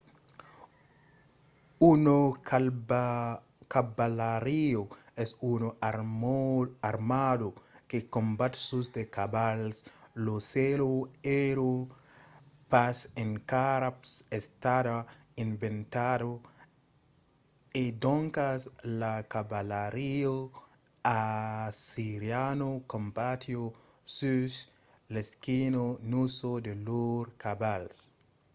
una cavalariá es una armada que combat sus de cavals. la sèla èra pas encara estada inventada e doncas la cavalariá assiriana combatiá sus l'esquina nusa de lors cavals